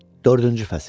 Dördüncü fəsil.